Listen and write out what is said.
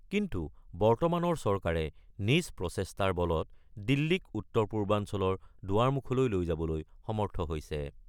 কিন্তু বৰ্তমানৰ চৰকাৰে নিজ প্ৰচেষ্টাৰ বলত দিল্লীক উত্তৰ-পূৰ্বাঞ্চলৰ দুৱাৰমুখলৈ লৈ যাবলৈ সমৰ্থ হৈছে।